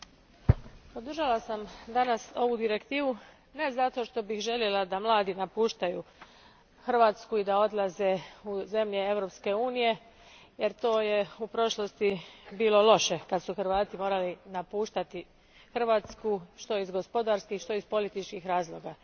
Gospodine predsjedniče, podržala sam danas ovu direktivu ne zato što bih željela da mladi napuštaju Hrvatsku i da odlaze u zemlje Europske unije, jer to je u prošlosti bilo loše kad su Hrvati morali napuštati Hrvatsku, što iz gospodarskih, što iz političkih razloga.